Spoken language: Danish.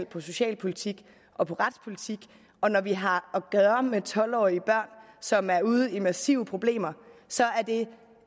på socialpolitik og på retspolitik og når vi har at gøre med tolv årige børn som er ude i massive problemer så